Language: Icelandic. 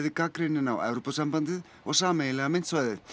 gagnrýninn á Evrópusambandið og sameiginlega myntsvæðið